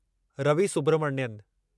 Ravi Subramanian